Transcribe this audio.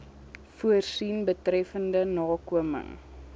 voorsien betreffende nakoming